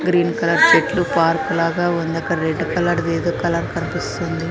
Green colour చెట్లు park లాగా ఉండక్కడ. అక్కడ రెడ్ కలర్ ది ఏదో కలర్ కనిపిస్తుంది.